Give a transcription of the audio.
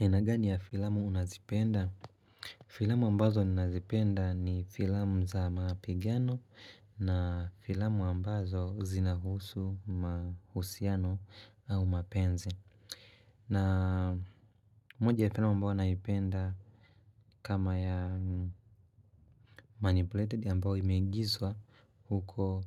Aina gani ya filamu unazipenda? Filamu ambazo nazipenda ni filamu za mapigano na filamu ambazo zinahusu, mahusiano au mapenzi. Na moja ya filamu ambayo naipenda kama ya manipulated ambazo imegizwa huko